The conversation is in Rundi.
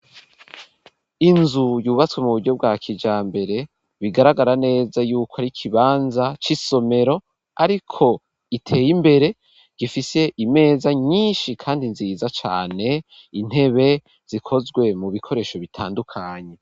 Inzu yubatswe mu buryo bwa kijambere, bigaragara neza yuko ari ikibanza c'isomero ,ariko iteye imbere gifise imeza nyinshi kandi nziza cane ,intebe zikozwe mu bikoresho bitandukanye.